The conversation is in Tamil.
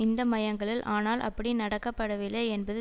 இந்த மையங்களில் ஆனால் அப்படி நடக்கபடவில்லை என்பது